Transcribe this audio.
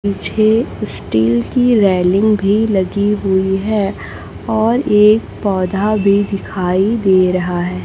पीछे स्टील कि रेलिंग भी लगी हुई है और एक पौधा भी दिखाई दे रहा--